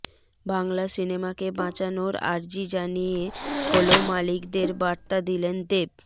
বাংলা সিনেমাকে বাঁচানোর আর্জি জানিয়ে হল মালিকদের বার্তা দিলেন দেব